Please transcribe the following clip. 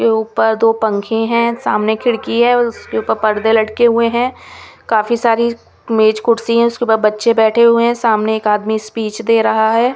के ऊपर दो पंखे हैं सामने खिड़की है उसके ऊपर पर्दे लटके हुए हैं काफी सारी मेज कुर्सी है उसके ऊपर बच्चे बैठे हुए हैं सामने एक आदमी स्पीच दे रहा है.